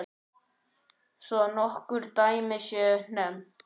Svo nokkur dæmi séu nefnd.